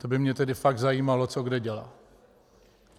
To by mě tedy fakt zajímalo, co kde dělá.